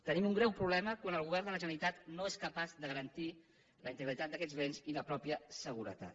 tenim un greu problema quan el govern de la generalitat no és capaç de garantir la integritat d’aquests béns i la mateixa seguretat